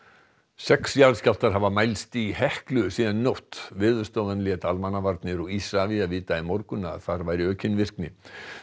sex jarðskjálftar hafa mælst í Heklu síðan í nótt Veðurstofan lét Almannavarnir og Isavia vita í morgun að þar væri aukin virkni